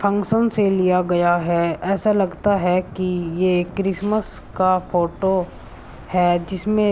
Function से लिया गया है। ऐसा लगता है कि ये क्रिसमस का फोटो है जिसमें --